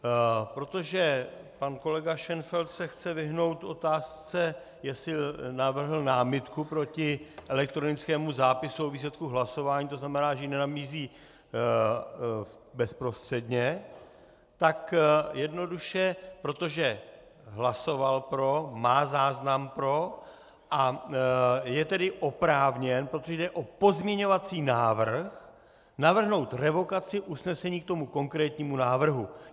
Protože pan kolega Šenfeld se chce vyhnout otázce, jestli navrhl námitku proti elektronickému zápisu o výsledku hlasování, to znamená, že ji nenabízí bezprostředně, tak jednoduše protože hlasoval pro, má záznam pro, a je tedy oprávněn, protože jde o pozměňovací návrh, navrhnout revokaci usnesení k tomu konkrétnímu návrhu.